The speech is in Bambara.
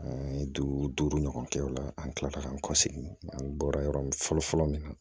An ye duuru ɲɔgɔn kɛ o la an tilala k'an kɔ segin an bɔra yɔrɔ min fɔlɔ fɔlɔ min na